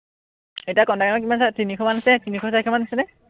এতিয়া contact number কিমান আছে, তিনিশ মানে আছে, তিনিশ চাৰিশমান আছেনে?